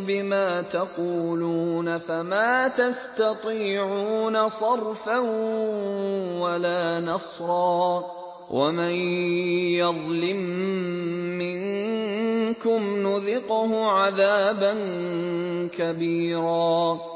بِمَا تَقُولُونَ فَمَا تَسْتَطِيعُونَ صَرْفًا وَلَا نَصْرًا ۚ وَمَن يَظْلِم مِّنكُمْ نُذِقْهُ عَذَابًا كَبِيرًا